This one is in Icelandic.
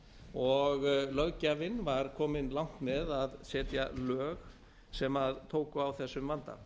og löggjafinn var kominn langt með að setja lög sem tóku á þessum vanda